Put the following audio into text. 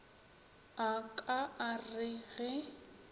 a ka a re ge